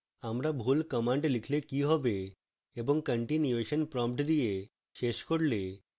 আমরা ভুল command লিখলে কি হবে এবং continuation prompt দিয়ে শেষ করলে